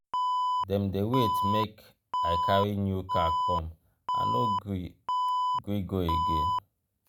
dem dey wait make i carry new car come i no gree gree go again.